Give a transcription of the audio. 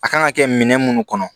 A kan ka kɛ minɛn munnu kɔnɔ